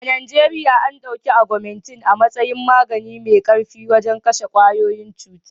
A Najeriya.an ɗauki agumintin a matsayin magani mai ƙarfi wajen kashe ƙwayoyin cuta.